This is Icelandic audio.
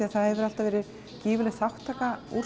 það hefur alltaf verið gífurleg þátttaka úr